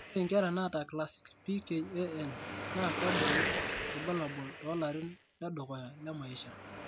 Ore inkera naata classic PKAN naa kebulu irbulabol toolarin ledukuya le maisha.